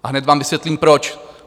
A hned vám vysvětlím proč.